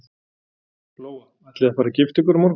Lóa: Ætlið þið að fara að gifta ykkur á morgun?